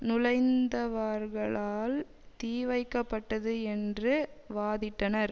நுழைந்தவர்களால் தீ வைக்கப்பட்டது என்று வாதிட்டனர்